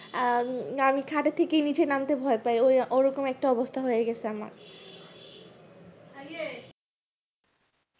আহ আমি খাতে থেকে নিচে নামতে ভয় পাই ওই ওই রকম একটা অবস্থা হয় গাছে আমার